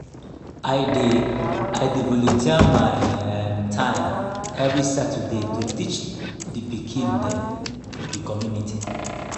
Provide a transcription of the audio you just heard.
i dey i dey volunteer my um time every saturday to teach di pikin dem for di community.